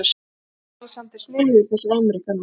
ALEXANDER: Sniðugir þessir ameríkanar.